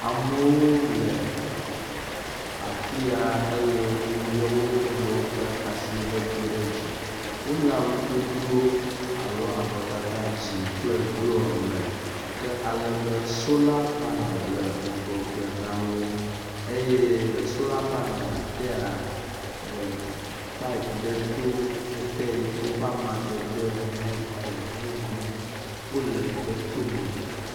Amewo le afi ya eye wolé wo nɔewo ƒe abɔwo do ɖe dzi. Wole awudodo alo avɔtata dzɛ̃ kple blɔ me, ke alebe sola panel le ŋgɔgbe na wo. Eye le sola panel tea, ee payipu ɖe to ete yike eƒe amadede nye gbe mumu. Wole gbetome.